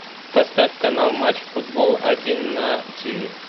поставь канал матч футбол один на ти ви